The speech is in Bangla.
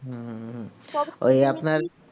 ওই আপনার